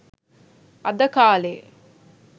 අද කාලෙ